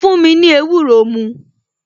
Fún mi ní ewúro mu